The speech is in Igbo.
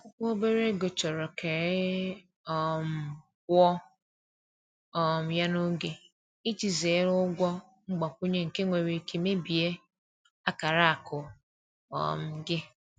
Akwụkwọ obere ego chọrọ ka e e um kwụọ um ya n’oge, iji zere ụgwọ mgbakwunye nke nwere ike mebie akara akụ um gị.